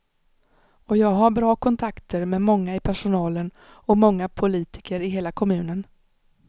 Och jag har bra kontakter med många i personalen och många politiker i hela kommunen.